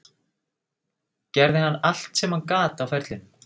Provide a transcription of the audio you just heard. Gerði hann allt sem hann gat á ferlinum?